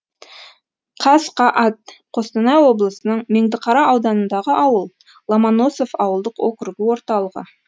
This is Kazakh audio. қасқаат қостанай облысының меңдіқара ауданындағы ауыл ломоносов ауылдық округі орталығы